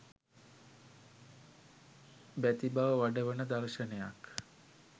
බැතිබව වඩවන දර්ශනයක්